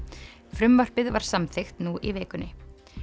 frumvarpið var samþykkt nú í vikunni